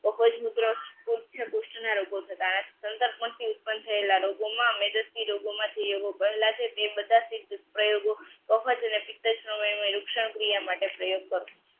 તો કોઈ જ રોગો થતા સંકલ્પમાંથી ઉત્પન્ન થયેલા રોગોમાં મેજિસ્ટ્રે રોગોમાંથી એ લોકો પહેલા છે તે બધા વખત ક્રિયા માટે પ્રયોગ થતો